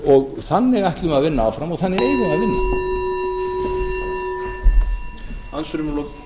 og þannig ætlum við að vinna áfram og þannig eigum við að vinna